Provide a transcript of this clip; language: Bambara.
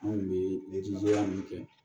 Anw kun bɛ ya min kɛ